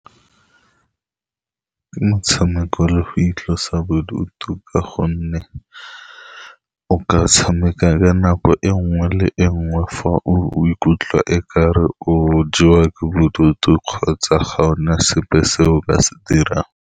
Ke motshameko le go itlosa bodutu, ka gonne o ka tshameka ka nako e nngwe le e nngwe fa o ikutlwa e kare o jewa ke bodutu, kgotsa ga o na sepe se o ka se dirang.